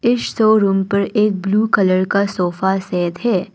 Store room पर एक blue colour का सोफा सेट है।